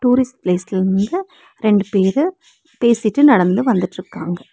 Tourist ப்ளேஸ்ட்லிந்து ரெண்டு பேரு பேசிட்டு நடந்து வந்துட்ருக்காங்க.